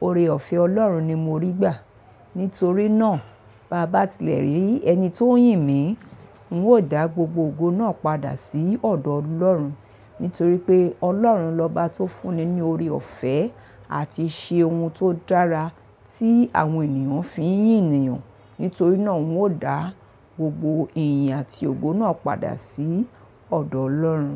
ore ọ̀fẹ́ Ọlọ́run ni mo rí gbà. Nítorí náà bá bá ti lẹ̀ rí ẹni tó ń yìn mí, n ó dá gbogbo ogo náà padà sí ọ̀dọ̀ Ọlọ́run. Nítorí pé Ọlọ́run lóbá tó fún ní ní ore ọ̀fẹ́ àti ṣe ohun tó dára tí àwọn ènìyàn fi ń yìn ènìyàn. Nítorí náà n ó dá gbogbo iyì àti ògo náà padà sí ọ̀dọ̀ Ọlọ́run.